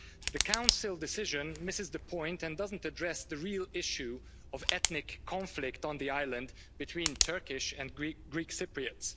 The Council decision misses the point and doesn't address the real issue of ethnic conflict on the island between Turkish and Greek Cypriots.